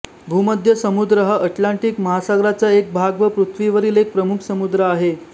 भूमध्य समुद्र हा अटलांटिक महासागराचा एक भाग व पृथ्वीवरील एक प्रमुख समुद्र आहे